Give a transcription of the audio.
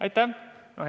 Aitäh!